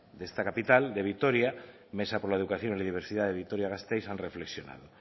de esta capital de vitoria mesa por la educación y diversidad de vitoria gasteiz han reflexionado